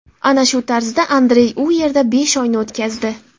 Ana shu tarzda Andrey u yerda besh oyni o‘tkazdi.